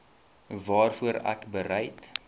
waarvoor ek bereid